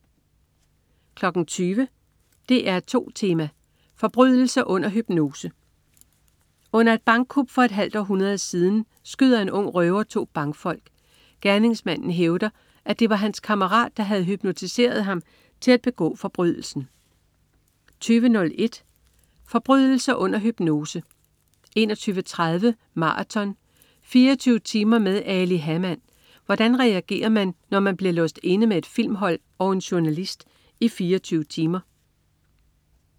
20.00 DR2 Tema: Forbrydelse under hypnose. Under et bankkup for et halvt århundrede siden, skyder en ung røver to bankfolk. Gerningsmanden hævder, at det var hans kammerat, der havde hypnotiseret ham til at begå forbrydelsen 20.01 Forbrydelse under hypnose 21.30 Maraton. 24 timer med Ali Hamann. Hvordan reagerer man, når man bliver låst inde med et filmhold og en journalist i 24 timer